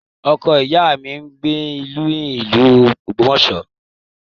Ọkọ ìyá mi ń gbé ní ìlú Ogbomoso